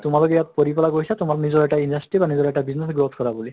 তোমালোক ইয়াত পঢ়ি পালে গৈছা তোমাৰ নিজৰ এটা industry বা নিজৰ এটা business growth কৰা বুলি